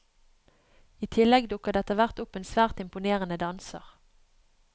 I tillegg dukker det etterhvert opp en svært imponerende danser.